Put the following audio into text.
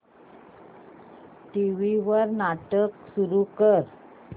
TV वर नाटक सुरू कर